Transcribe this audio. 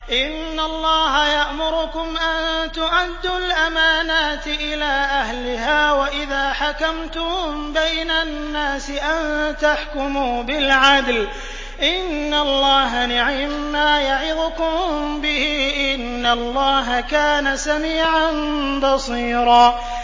۞ إِنَّ اللَّهَ يَأْمُرُكُمْ أَن تُؤَدُّوا الْأَمَانَاتِ إِلَىٰ أَهْلِهَا وَإِذَا حَكَمْتُم بَيْنَ النَّاسِ أَن تَحْكُمُوا بِالْعَدْلِ ۚ إِنَّ اللَّهَ نِعِمَّا يَعِظُكُم بِهِ ۗ إِنَّ اللَّهَ كَانَ سَمِيعًا بَصِيرًا